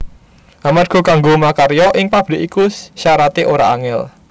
Amarga kanggo makarya ing pabrik iku syarate ora angel